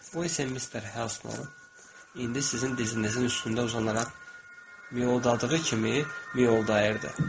Bu isə Mister Helsonun indi sizin dizinizin üstündə uzanaraq miyoldadığı kimi miyoldayırdı.